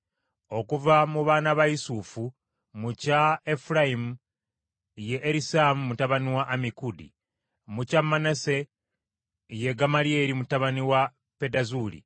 Okuva mu baana ba Yusufu: mu kya Efulayimu ye Erisaama mutabani wa Ammikudi; mu kya Manase ye Gamalyeri mutabani wa Pedazuuli.